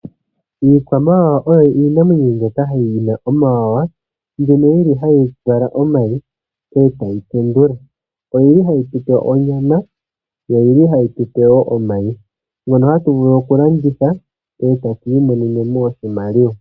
Iikwamawawa oyo iinamwenyo mbyoka yina omawanawa, mbyono yili hayi vala omayi e tayi tendula, oyili hayi tu pe onyama, yo oyili hayi tu pe omayi ngono tatu vulu oku landitha e tatu i monene oshimaliwa.